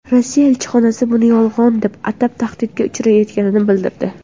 Rossiya elchixonasi buni yolg‘on deb atab, tahdidga uchrayotganini bildirdi.